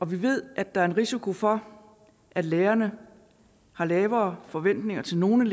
vi ved at der er en risiko for at lærerne har lavere forventninger til nogle